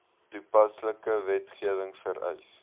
toepaslike wetgewing vereis